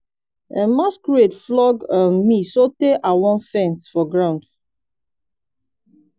um masquerade flog um me so tey i wan faint for ground.